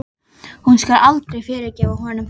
Hún skal aldrei fyrirgefa honum það.